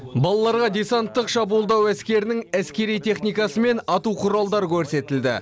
балаларға десанттық шабуылдау әскерінің әскери техникасы мен ату құралдары көрсетілді